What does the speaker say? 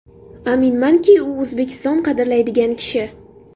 Aminmanki, u O‘zbekiston qadrlaydigan kishi.